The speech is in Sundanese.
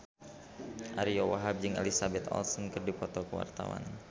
Ariyo Wahab jeung Elizabeth Olsen keur dipoto ku wartawan